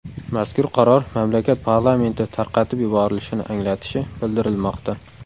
Mazkur qaror mamlakat parlamenti tarqatib yuborilishini anglatishi bildirilmoqda.